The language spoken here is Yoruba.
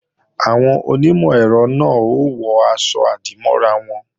Àwọn onímọ̀-ẹ̀rọ náà ó wọ aṣọ-àdìmọ́ra wọn